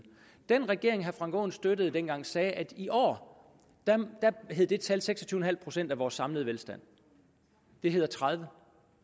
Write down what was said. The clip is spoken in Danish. den regering som herre frank aaen støttede dengang sagde at i år hed det tal seks og tyve procent af vores samlede velstand det hedder tredivete